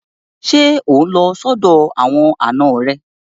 Ṣé ò ń lọ sọ́dọ̀ àwọn àna rẹ?